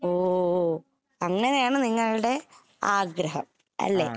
ഓ ഓ അങ്ങനെയാണ് നിങ്ങളുടെ ആഗ്രഹം അല്ലേ?